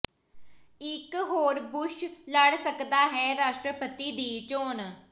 ਇਕ ਹੋਰ ਬੁਸ਼ ਲੜ ਸਕਦਾ ਹੈ ਰਾਸ਼ਟਰਪਤੀ ਦੀ ਚੋਣ